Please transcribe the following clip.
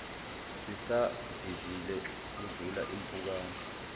sisavivile kudlula impukane